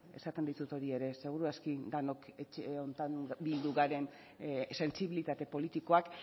esaten dizut hori ere seguru aski denok etxe honetan bildu garen sentsibilitate politikoak